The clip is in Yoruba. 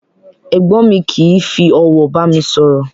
Ègbón mi kìí fi òwò bàmi sòrò